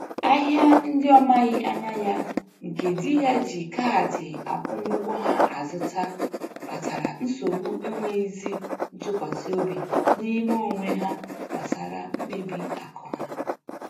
Ahịa ndị ọ maghị anya ya, nke di ya ji kaadị akwụmụụgwọ ha azụta kpatara nsogbu enwezighị ntụkwasiobi n'ime onwe ha gbasara mkpebi akụ ha.